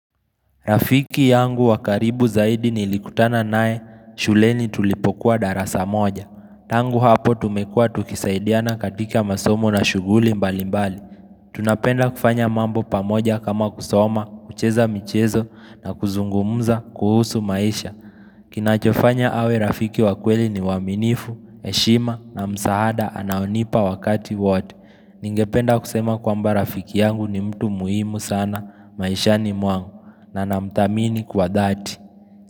Rafiki yangu wakaribu zaidi ni likutana nae shuleni tulipokuwa darasa moja. Tangu hapo tumekua tukisaidiana katika masomo na shuguli mbali mbali. Tunapenda kufanya mambo pamoja kama kusoma, kucheza michezo na kuzungumuza kuhusu maisha. Kinachofanya awe rafiki wakweli ni waminifu, heshima na msahada anaonipa wakati wote. Ningependa kusema kwamba rafiki yangu ni mtu muhimu sana, maisha ni mwangu. Na namutamini kwa dhati.